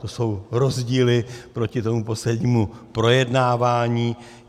To jsou rozdíly proti tomu poslednímu projednávání.